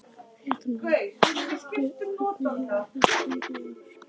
Fréttamaður: Og hvernig hefur þetta gengið í ár?